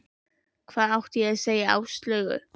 Hvað átti ég að segja Áslaugu?